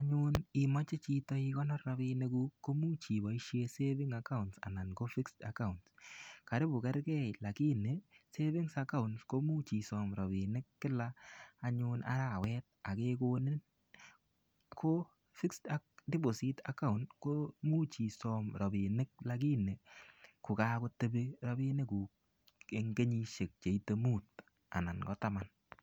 Anyun imoche chito igonor rapinikkuk komuch iboisie savings account ana ko fixed account. Karipu kergei lagini savings account komuch isom rapinik kila arawet ak kegoninin. Ko fixed deposit account ko much isom rapinik lakini kokakotepi rapinikuk en kenyisiek che ite mut anan ko taman.